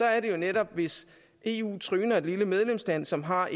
er det jo netop hvis eu tryner et lille medlemsland som har